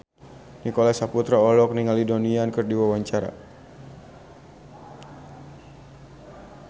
Nicholas Saputra olohok ningali Donnie Yan keur diwawancara